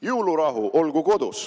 Jõulurahu olgu kodus …